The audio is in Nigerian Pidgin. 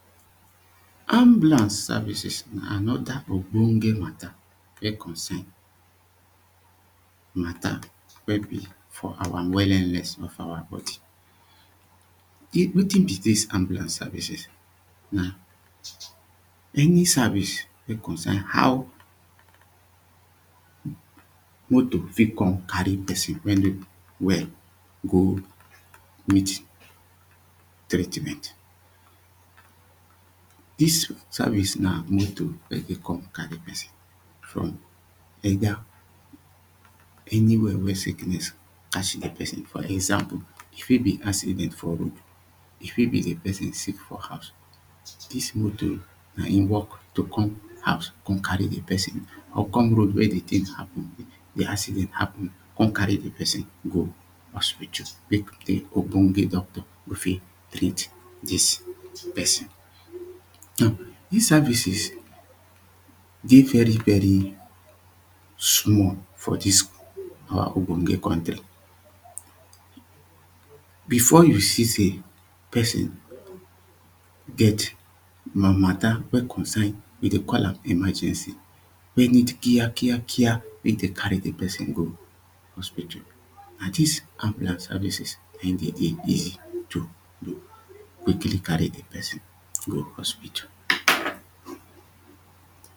Ambulance services na another ogbonge matter wen concern matter wen be for our wellenness of our body, wetin be dis ambulance service? um Na any service wen concern how motor fit come carry person wen no well go meet treatment. Dis service na motor wen dey come carry person from whether anywhere wen sickness catch dat person dey for example e fit be accident for road, e fit be di person sick for house. Dis motor na im work to come house come carry di person, or come road where di thing happen di accident happen come carry di person go hospital make di ogbonge doctor go fit treat dis person. Now dis services dey very very small for dis our ogbonge country. Before you see say person get matter wen concern we dey call am emergency, wen need care care carecc make dem carry di person go hospital, na dis ambulance services na im dey easy to quickly carry di person go hospital.